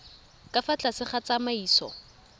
ka fa tlase ga tsamaiso